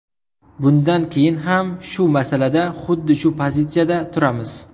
Bundan keyin ham shu masalada xuddi shu pozitsiyada turamiz.